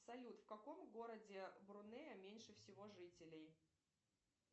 салют в каком городе брунея меньше всего жителей